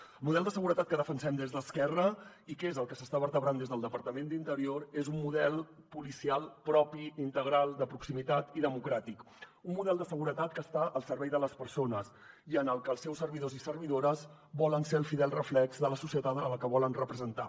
el model de seguretat que defensem des d’esquerra i que és el que s’està vertebrant des del departament d’interior és un model policial propi integral de proximitat i democràtic un model de seguretat que està al servei de les persones i en el que els seus servidors i servidores volen ser el fidel reflex de la societat a la que volen representar